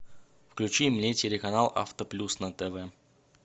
включи мне телеканал авто плюс на тв